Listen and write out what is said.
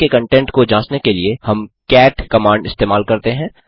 file के content को जाँचने के लिए हम कैट कमांड इस्तेमाल करते हैं